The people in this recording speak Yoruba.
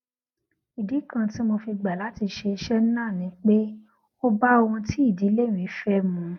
ìdí kan tí mo fi gbà láti ṣe iṣé náà ni pé ó bá ohun tí ìdílé mi fé mu